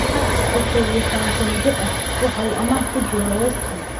Hart, oo kow iyi sodan jir ah, waxa uu amaah ku joogay West Ham.